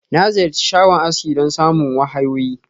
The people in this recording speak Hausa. Na Ziyarchi shagon aski don samun wahayoyi.